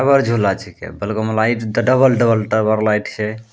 टावर झूला छीके | बगल मे light double - double tower light छै |